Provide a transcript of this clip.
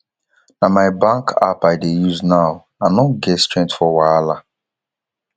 na my bank app i dey use now i no get strength for wahala